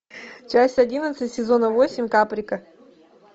часть одиннадцать сезона восемь каприка